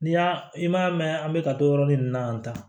N'i y'a i m'a mɛn an bɛ ka to yɔrɔnin na yan tan